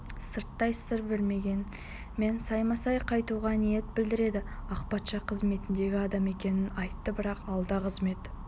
сырттай сыр бермегенмен саймасай қайтуға ниет білдірді ақ патша қызметіндегі адам екенін айтты бірақ алда қызмет